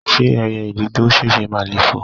ṣé ẹyẹ ìdì to ti sèse máà le foò?